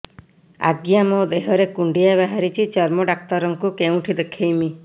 ଆଜ୍ଞା ମୋ ଦେହ ରେ କୁଣ୍ଡିଆ ବାହାରିଛି ଚର୍ମ ଡାକ୍ତର ଙ୍କୁ କେଉଁଠି ଦେଖେଇମି